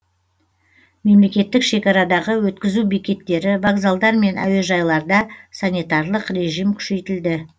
мемлекеттік шекарадағы өткізу бекеттері вокзалдар мен әуежайларда санитарлық режим күшейтілді